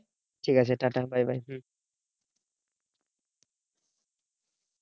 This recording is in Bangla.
ঠিক আছে টা টা bye bye হম